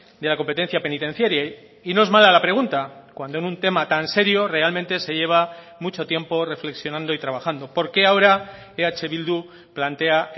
de la competencia penitenciaria y no es mala la pregunta cuando en un tema tan serio realmente se lleva mucho tiempo reflexionando y trabajando por qué ahora eh bildu plantea